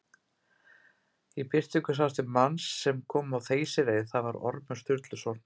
Í birtingu sást til manns sem kom á þeysireið, það var Ormur Sturluson.